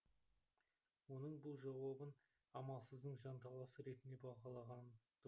оның бұл жауабын амалсыздың жанталасы ретінде бағалаған